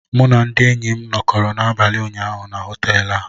M na ndị enyi m nọkọrọ n'abalị ụnyaahụ na họtel a